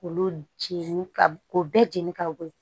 K'olu jɛni ka o bɛɛ jeni ka bɔ yen